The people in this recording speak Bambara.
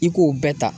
I k'o bɛɛ ta